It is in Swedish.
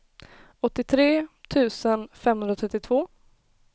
åttiotre tusen femhundratrettiotvå